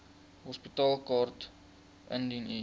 hospitaalkaart indien u